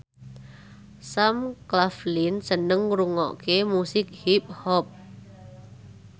Sam Claflin seneng ngrungokne musik hip hop